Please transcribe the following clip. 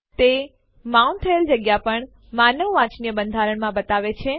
તે માઉન્ટ થયેલ જગ્યા પણ માનવ વાંચનીય બંધારણમાં બતાવે છે